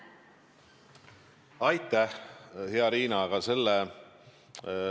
Aitäh, hea Riina!